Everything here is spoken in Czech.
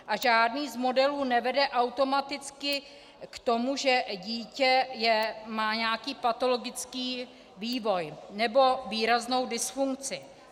A žádný z modelů nevede automaticky k tomu, že dítě má nějaký patologický vývoj nebo výraznou dysfunkci.